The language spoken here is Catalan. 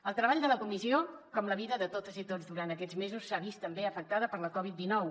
el treball de la comissió com la vida de totes i tots durant aquests mesos s’ha vist també afectat per la covid dinou